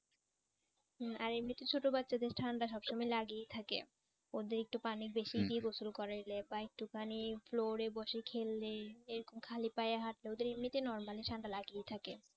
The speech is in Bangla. হুঁ। আর এমনিতে ছোট বাচ্চাদের ঠান্ডা সব সময় লাগেই থাকে। ওদের একটু পানি বেশি দিয়ে গোসল করাইলে বা একটু খানি floor এ বসে খেললে এরকম খালি পায়ে হাঁটলে ওদের এমনিতে normally ঠান্ডা লাগেই থাকে।